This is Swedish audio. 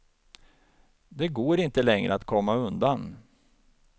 Det går inte längre att komma undan.